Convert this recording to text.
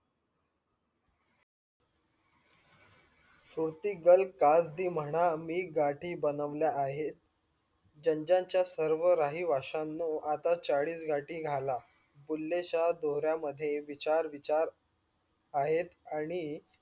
सोती दल काही म्हणा मी गाठी बनवल्या आहेत. जन जन्च्या सर्व राही वश्यानो आता चाळीस गाठी घाला. बुले शहा डोह्र्या मध्ये विचार विचार आहेत आणि